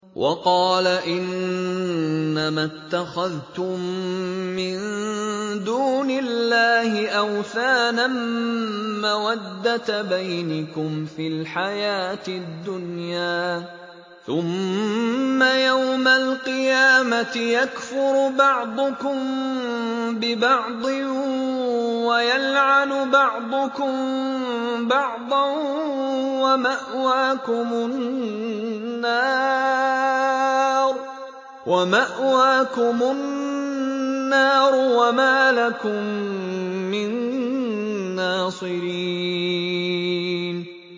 وَقَالَ إِنَّمَا اتَّخَذْتُم مِّن دُونِ اللَّهِ أَوْثَانًا مَّوَدَّةَ بَيْنِكُمْ فِي الْحَيَاةِ الدُّنْيَا ۖ ثُمَّ يَوْمَ الْقِيَامَةِ يَكْفُرُ بَعْضُكُم بِبَعْضٍ وَيَلْعَنُ بَعْضُكُم بَعْضًا وَمَأْوَاكُمُ النَّارُ وَمَا لَكُم مِّن نَّاصِرِينَ